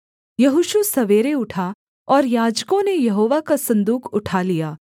यहोशू सवेरे उठा और याजकों ने यहोवा का सन्दूक उठा लिया